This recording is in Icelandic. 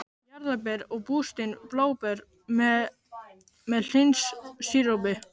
Jarðarber og bústin bláber með hlynsírópi